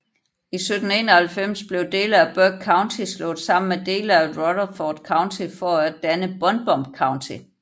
I 1791 blev dele af Burke County slået sammen med dele af Rutherford County for at danne Buncombe County